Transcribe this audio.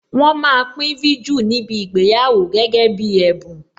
Wọn máa pín viju níbi ìgbéyàwó gẹ́gẹ́ bí ẹ̀bùn.